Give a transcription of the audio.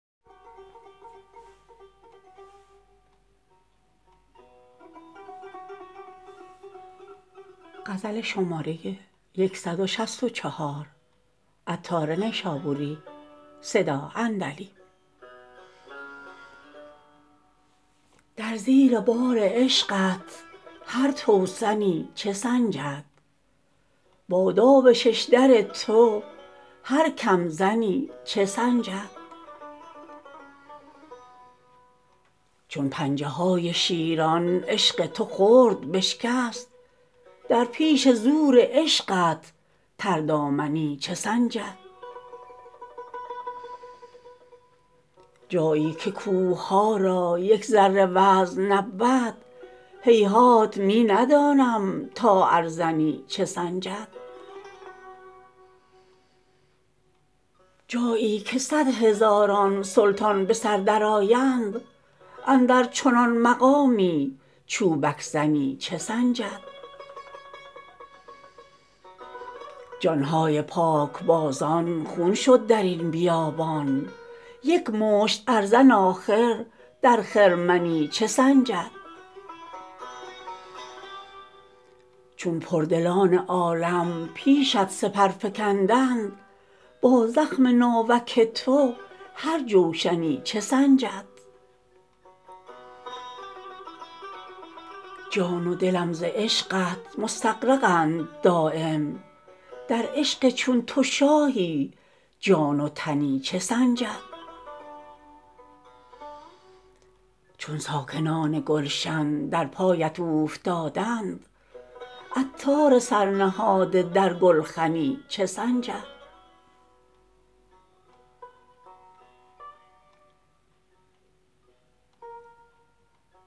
در زیر بار عشقت هر توسنی چه سنجد با داو ششدر تو هر کم زنی چه سنجد چون پنجه های شیران عشق تو خرد بشکست در پیش زور عشقت تر دامنی چه سنجد جایی که کوهها را یک ذره وزن نبود هیهات می ندانم تا ارزنی چه سنجد جایی که صد هزاران سلطان به سر درآیند اندر چنان مقامی چوبک زنی چه سنجد جان های پاک بازان خون شد درین بیابان یک مشت ارزن آخر در خرمنی چه سنجد چون پردلان عالم پیشت سپر فکندند با زخم ناوک تو هر جوشنی چه سنجد جان و دلم ز عشقت مستغرقند دایم در عشق چون تو شاهی جان و تنی چه سنجد چون ساکنان گلشن در پایت اوفتادند عطار سر نهاده در گلخنی چه سنجد